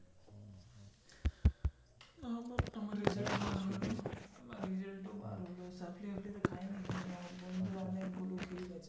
আমাদের .